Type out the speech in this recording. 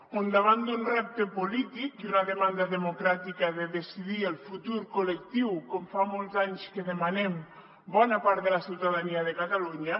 on davant d’un repte polític i una demanda democràtica de decidir el futur collectiu com fa molts anys que demanem bona part de la ciutadania de catalunya